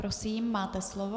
Prosím, máte slovo.